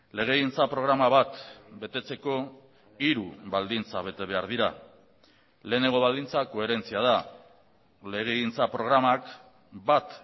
legegintza programa bat betetzeko hiru baldintza bete behar dira lehenengo baldintza koherentzia da legegintza programak bat